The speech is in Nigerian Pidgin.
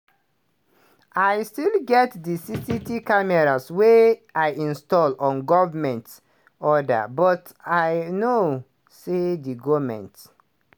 "i still get di cctv cameras wey i install on government orders but i know say di goment